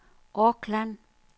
Auckland